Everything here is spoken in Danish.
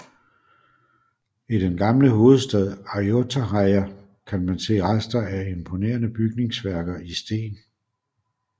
I den gamle hovedstad Ayutthaya kan man se rester af imponerende bygningsværker i sten